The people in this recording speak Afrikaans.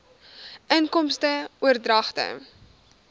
inkomste oordragte